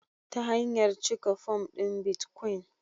Ta hanyar cike fom ɗin bitcoin